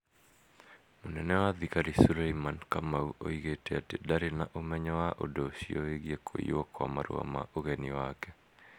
mũnene wa thigari sureimani kamau oigite atĩ ndaarĩ na ũmenyo wa ũndũ ũcio wĩgiĩ kũiywo kwa marũa ma ũgeni make".